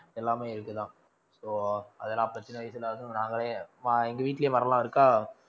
எல்லாமே இருக்குதான் so அதெல்லாம் அப்ப சின்ன வயசில நாங்களே எங்க வீட்டிலேயே மரம் எல்லாம் இருக்கா